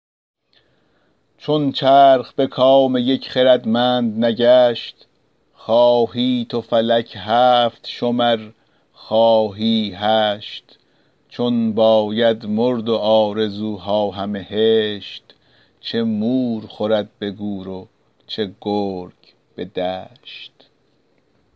چون چرخ به کام یک خردمند نگشت خواهی تو فلک هفت شمر خواهی هشت چون باید مرد و آرزوها همه هشت چه مور خورد به گور و چه گرگ به دشت